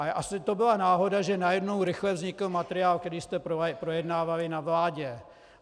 Ale asi to byla náhoda, že najednou rychle vznikl materiál, který jste projednávali na vládě.